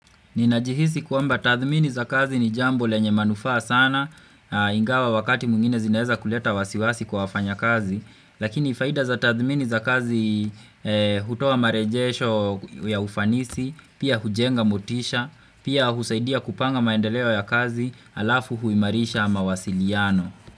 Ninajihisi kuamba tathmini za kazi ni jambo lenye manufaa sana, ingawa wakati mwingine zinaweza kuleta wasiwasi kwa wafanya kazi, lakini faida za tathmini za kazi hutowa marejesho ya ufanisi, pia hujenga motisha, pia husaidia kupanga maendeleo ya kazi alafu huimarisha mawasiliano.